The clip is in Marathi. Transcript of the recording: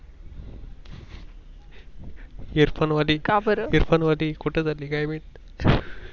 Earphone वाली Earphone वाली कुठं झाली काय माहित